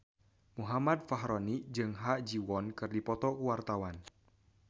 Muhammad Fachroni jeung Ha Ji Won keur dipoto ku wartawan